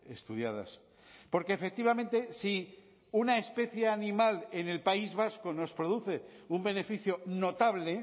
estudiadas porque efectivamente si una especie animal en el país vasco nos produce un beneficio notable